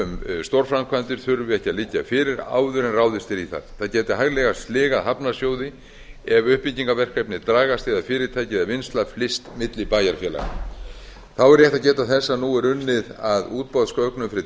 um stórframkvæmdir þurfi ekki að liggja fyrir áður en ráðist er í þær það gæti hæglega sligað hafnarsjóði ef uppbyggingarverkefni dragast eða fyrirtæki eða vinnsla flyst milli bæjarfélaga þá er rétt að geta þess að nú er unnið að útboðsgögnum fyrir